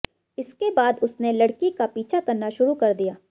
इसके बाद उसने लड़की का पीछा करना शुरू कर दिया